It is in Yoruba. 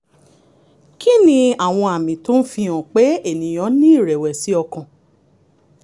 kí ni àwọn àmì tó ń fihàn pé ènìyàn ní ìrẹ̀wẹ̀sì ọkàn?